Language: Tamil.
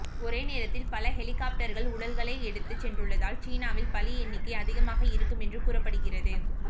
ஒரே நேரத்தில் பல ஹெலிகாப்டர்கள் உடல்களை எடுத்துச் சென்றுள்ளதால் சீனாவில் பலி எண்ணிக்கை அதிகமாக இருக்கும் என்று கூறப்படுகிறது